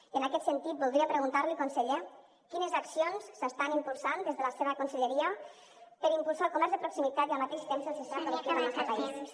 i en aquest sentit voldria preguntar li conseller quines accions s’estan impulsant des de la seva conselleria per impulsar el comerç de proximitat i al mateix temps el sistema productiu del nostre país